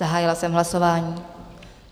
Zahájila jsem hlasování.